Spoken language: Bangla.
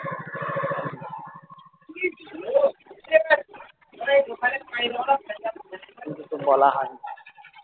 কিছুতো বলা হয় নি